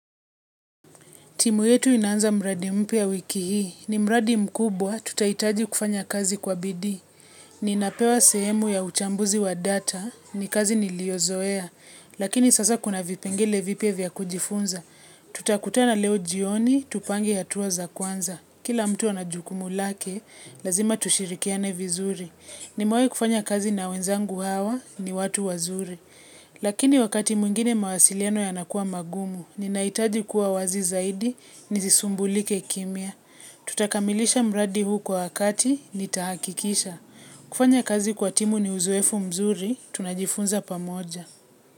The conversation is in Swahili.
Timu yetu inaanza mradi mpya wiki hii. Ni mradi mkubwa, tutaitaji kufanya kazi kwa bidii. Ninapewa sehemu ya uchambuzi wa data, ni kazi niliozoea, lakini sasa kuna vipengele vipya vya kujifunza. Tutakutana leo jioni, tupange hatua za kwanza. Kila mtu ana jukumu lake, lazima tushirikiane vizuri. Nimewai kufanya kazi na wenzangu hawa, ni watu wazuri. Lakini wakati mwingine mawasiiano yanakua magumu, ninaitaji kuwa wazi zaidi, nizisumbulike kimya. Tutakamilisha mradi huu kwa wakati, nitahakikisha. Kufanya kazi kwa timu ni uzoefu mzuri, tunajifunza pamoja.